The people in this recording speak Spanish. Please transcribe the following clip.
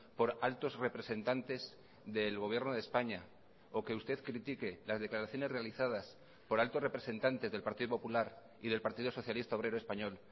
por altos representantes del gobierno de españa o que usted critique las declaraciones realizadas por altos representantes del partido popular y del partido socialista obrero español